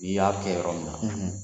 N'iy'a kɛ yɔrɔ min na